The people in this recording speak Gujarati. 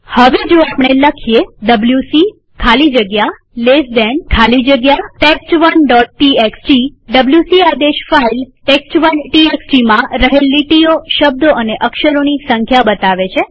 હવે જો આપણે આ લખીએ ડબ્લ્યુસી ખાલી જગ્યા ltડાબા ખૂણાવાળો કૌંસ ખાલી જગ્યા ટેસ્ટ1 txt ડબ્લ્યુસી આદેશ ફાઈલ test1textમાં રહેલ લીટીઓશબ્દો અને અક્ષરોની સંખ્યા બતાવે છે